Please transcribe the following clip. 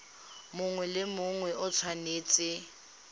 mongwe le mongwe o tshwanetse